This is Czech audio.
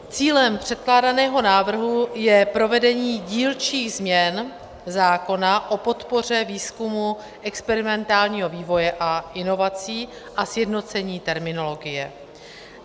Cílem předkládaného návrhu je provedení dílčích změn zákona o podpoře výzkumu, experimentálního vývoje a inovací a sjednocení terminologie.